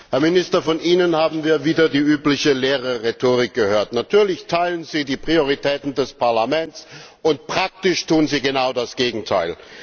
Herr Präsident! Herr Minister, von Ihnen haben wir wieder die übliche leere Rhetorik gehört. Natürlich teilen Sie die Prioritäten des Parlaments, und praktisch tun Sie das Gegenteil!